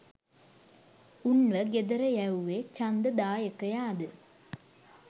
උන්ව ගෙදර යැව්වේ ඡන්ද දායකයාදා